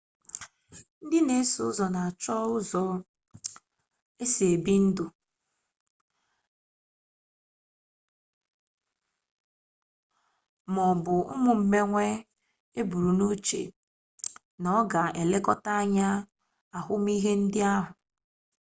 ndị na-eso ụzọ na-achụ ụfọdụ ụzọ esi ebi ndụ ma ọ bụ ụmụ mmewe eburunuche na ọ ga-elekọta anya ahụmihe ndị ahụ